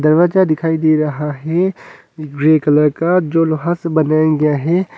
रवाजा दिखाई दे रहा है ग्रे कलर का जो लोहा से बनाया गया है।